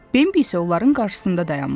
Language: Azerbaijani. Bimbi isə onların qarşısında dayanmışdı.